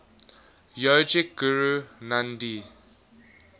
yogic guru nandhi